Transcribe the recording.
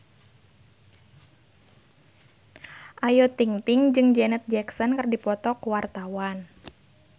Ayu Ting-ting jeung Janet Jackson keur dipoto ku wartawan